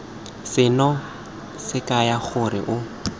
seno se kaya gore o